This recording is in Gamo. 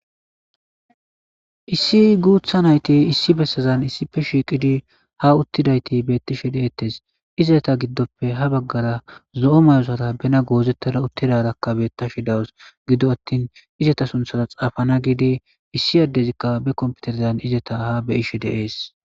Issi gutha nayti issi besazan issipe shiqidi ha utidayti issipe betishe de'etes izetape gidope ha bagara zo'o mayo Zara bena gozetad uti utidaraka beyashe de'awus gido attin izara suntha xaafanas gishe issi adezika be kompiterezan ha be'ishe des